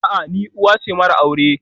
A'a, ni uwa ce mara aure